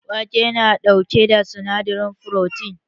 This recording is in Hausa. Wake na ɗauke da sinadarin furotin